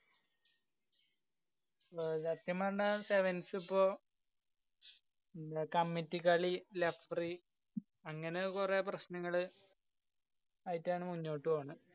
സത്യം പറഞ്ഞാ sevens ഇപ്പൊ committee കളി referee അങ്ങനെ ഒക്കെ കൊറേ പ്രശ്‌നങ്ങള് ആയിട്ടാണ് മുന്നോട്ട് പോവന്നേ